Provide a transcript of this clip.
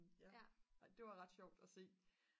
og det var ret sjovt at se